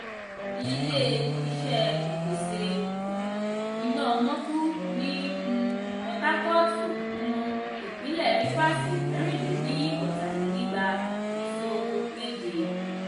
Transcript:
ilé-iṣé ìpèsè um iná omoku ní um potakootu um ìpínlè rifasi mẹrin-le-ni-ota-le-nigba iso mẹje.